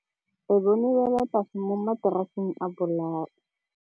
Re bone wêlôtlasê mo mataraseng a bolaô.